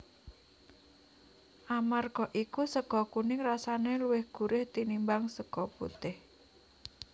Amarga iku sega kuning rasane luwih gurih tinimbang sega putih